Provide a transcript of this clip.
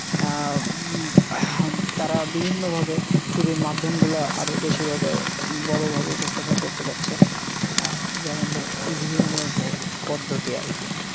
আহ তাঁরা বিভিন্ন ভাবে চুরির মাধ্যম গুলা আরও বেশি ভাবে বড় ভাবে উপস্থাপন করতে পারছে। আহ যেমন ভাবে EVM এ ভোট পদ্ধতি আর কি।